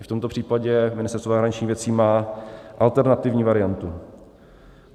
I v tomto případě Ministerstvo zahraničních věcí má alternativní variantu.